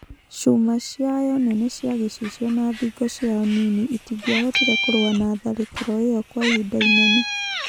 Cuma ciayo nene cia gĩcicio na thingo ciayo nini itingĩahotire kũrũa na tharĩkĩro ĩyo kwa ihinda inene.